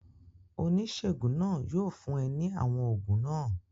Oníṣègùn náà yóò fún é ní àwọn oògùn náà